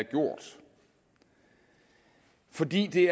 gjort fordi det